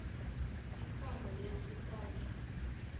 engcono yethu sonke